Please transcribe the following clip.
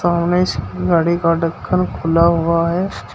गाड़ी का ढक्कन खुला हुआ है।